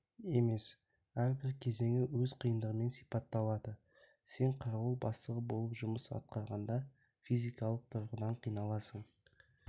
емес әрбір кезеңі өз қиындығымен сипатталады сен қарауыл бастығы болып жұмыс атқарғанда физикалық тұрғыдан қиналасын